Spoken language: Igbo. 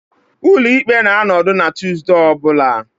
Ụlọ ikpe na-anọdụ na Tuesday ọ bụla